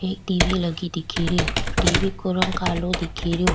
एक TV लगी दिखे री टी वी को रंग कालो दिखे रियो।